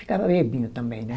Ficava bebinho também, né?